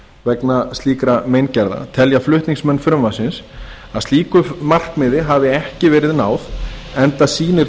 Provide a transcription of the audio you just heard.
vegna slíkra meingerða telja flutningsmenn frumvarpsins að slíku markmiði hafi ekki verið náð enda sýnir